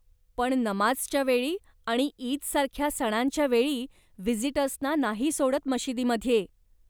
पण नमाझच्या वेळी आणि ईद सारख्या सणांच्यावेळी, व्हिजिटर्स ना नाही सोडत मशिदीमध्ये.